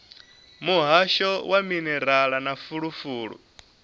muhasho wa minerala na fulufulu